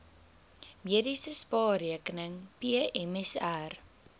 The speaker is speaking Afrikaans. mediese spaarrekening pmsr